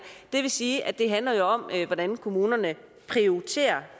det vil sige at det jo handler om hvordan kommunerne prioriterer